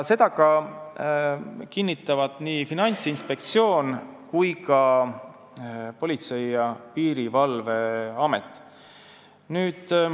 Seda kinnitavad nii Finantsinspektsioon kui ka Politsei- ja Piirivalveamet.